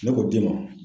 Ne k'o d'i ma